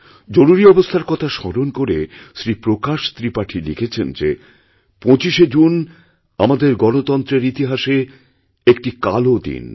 জরুরীঅবস্থার কথা স্মরণ করে শ্রী প্রকাশ ত্রিপাঠী লিখেছেন যে ২৫শে জুন আমাদেরগণতন্ত্রের ইতিহাসে একটি কালো দিন